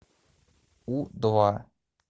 у два